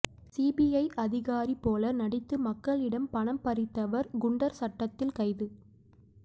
CBI அதிகாரி போல நடித்து மக்களிடம் பணம் பறித்தவர் குண்டர் சட்டத்தில் கைது